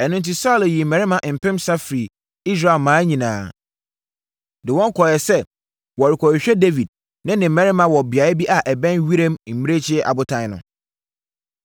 Ɛno enti, Saulo yii mmarima mpensa firii Israel mmaa nyinaa, de wɔn kɔɔeɛ sɛ wɔrekɔhwehwɛ Dawid ne ne mmarima wɔ beaeɛ bi a ɛbɛn Wiram Mmirekyie Abotan no.